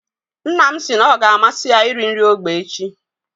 Nna m si na ọ ga amasị ya iri nri ógbè echi.